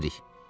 Hara gedirik?